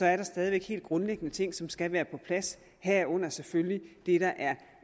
er der stadig væk helt grundlæggende ting som skal være på plads herunder selvfølgelig det der